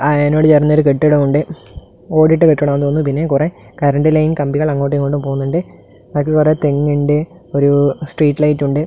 അയിനോട് ചേർന്ന് ഒരു കെട്ടിടം ഉണ്ട് ഓടിട്ട കെട്ടിടം ആണെന്ന് തോന്നുന്നു പിന്നെ കുറെ കറണ്ട് ലൈൻ കമ്പികൾ അങ്ങോട്ടുമിങ്ങോട്ടും പോകുന്നുണ്ട് ബാക്കിൽ കുറെ തെങ്ങുണ്ട് ഒരു സ്ട്രീറ്റ് ലൈറ്റ് ഉണ്ട്.